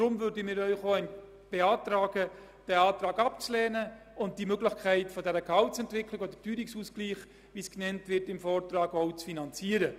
Deshalb beantragen wir Ihnen, den Antrag abzulehnen und die Ermöglichung der Gehaltsentwicklung oder des Teuerungsausgleichs, wie dies im Vortrag genannt wird, zu finanzieren.